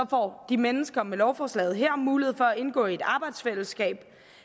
får de mennesker med lovforslaget her mulighed for at indgå i et arbejdsfællesskab